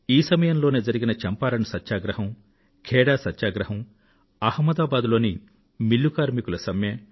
ఈ సమయంలోనే జరిగిన చంపారణ్ సత్యాగ్రహం ఖేడా సత్యాగ్రహం అహ్మదాబాద్ లోని మిల్లు కార్మికుల సమ్మె